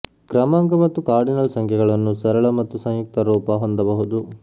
ಕ್ರಮಾಂಕ ಮತ್ತು ಕಾರ್ಡಿನಲ್ ಸಂಖ್ಯೆಗಳನ್ನು ಸರಳ ಮತ್ತು ಸಂಯುಕ್ತ ರೂಪ ಹೊಂದಬಹುದು